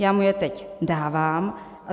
Já mu je teď dávám.